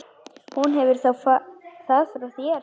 Hún hefur það frá þér.